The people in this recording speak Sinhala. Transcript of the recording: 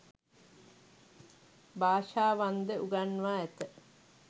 භාෂාවන් ද උගන්වා ඇත.